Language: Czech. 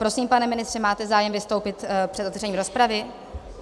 Prosím, pane ministře, máte zájem vystoupit před otevřením rozpravy?